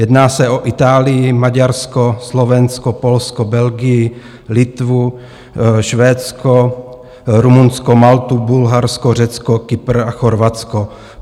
Jedná se o Itálii, Maďarsko, Slovensko, Polsko, Belgii, Litvu, Švédsko, Rumunsko, Maltu, Bulharsko, Řecko, Kypr a Chorvatsko.